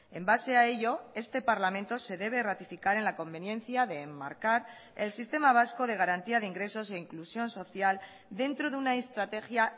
en base a ello este parlamento se debe ratificar en la conveniencia de enmarcar el sistema vasco de garantía de ingresos e inclusión social dentro de una estrategia